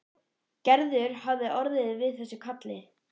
Gerður hafi orðið við þessu kalli.